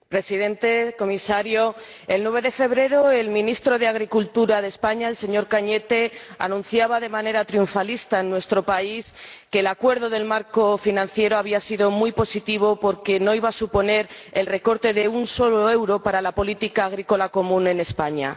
Señor Presidente, señor Comisario, el 9 de febrero el ministro de Agricultura de España, el señor Arias Cañete, anunciaba de manera triunfalista en nuestro país que el acuerdo del marco financiero había sido muy positivo porque no iba a suponer el recorte de un solo euro en las ayudas de la política agrícola común para España.